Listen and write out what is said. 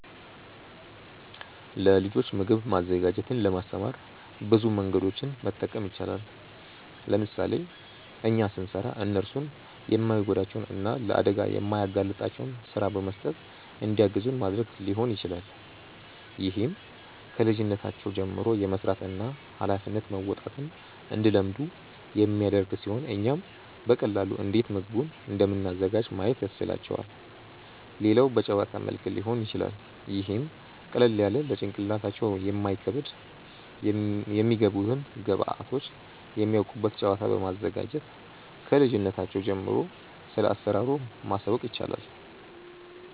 ለልጆች ምግብ ማዘጋጀትን ለማስተማር ብዙ መንገዶችን መጠቀም ይቻላል። ለምሳሌ እኛ ስንሰራ እነርሱን የማይጎዳቸውን እና ለአደጋ የማያጋልጣቸውን ስራ በመስጠት እንዲያግዙን ማድረግ ሊሆን ይችላል። ይህም ከልጅነታቸው ጀምሮ የመስራትን እና ሃላፊነት መወጣትን እንዲለምዱ የሚያደርግ ሲሆን እኛም በቀላሉ እንዴት ምግቡን እንደምናዘጋጅ ማየት ያስችላቸዋል። ሌላው በጨዋታ መልክ ሊሆን ይችላል ይህም ቀለል ያለ ለጭንቅላታቸው የማይከብድ የሚገቡትን ግብዐቶች የሚያውቁበት ጨዋታ በማዘጋጀት ክልጅነታቸው ጀምሮ ስለአሰራሩ ማሳወቅ ይቻላል።